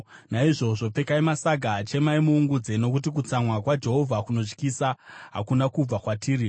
Naizvozvo pfekai masaga, chemai muungudze, nokuti kutsamwa kwaJehovha kunotyisa hakuna kubva kwatiri.